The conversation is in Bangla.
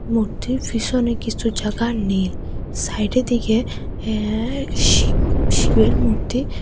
মূর্তির পিসোনে কিছু জাগা নীল সাইডের দিকে হ্যে শিব শিবের মূর্তি--